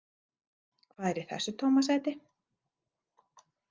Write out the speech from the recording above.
Hvað er í þessa tóma sæti?